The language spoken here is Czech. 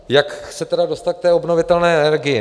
Jak se tedy dostat k té obnovitelné energii?